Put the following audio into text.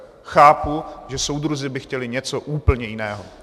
Chápu, že soudruzi by chtěli něco úplně jiného!